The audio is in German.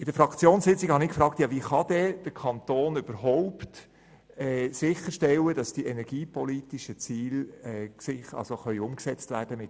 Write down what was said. In der Fraktionssitzung habe ich gefragt, wie der Kanton überhaupt sicherstellen kann, dass die energiepolitischen Ziele mit dieser BKW-Beteiligung umgesetzt werden können.